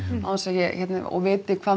án þess að ég viti hvað